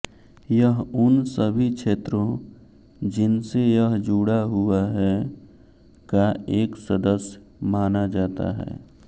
यह उन सभी क्षेत्रों जिनसे यह जुड़ा हुआ है का एक सदस्य माना जाता है